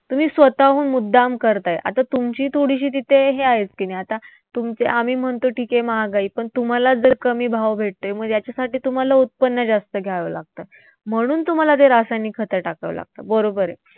तुम्ही स्वतःहून मुद्दाम करताय. आता तुमची थोडीशी तिथे हे आहेच कि नाही? आता आम्ही म्हणतो ठीक आहे, महागाई पण तुम्हांला जर कमी भाव भेटतोय मग याच्यासाठी तुम्हांला उत्पन्न जास्त घ्यावं लागतं. म्हणून तुम्हांला ते रासायनिक खतं टाकावी लागतात. बरोबर आहे?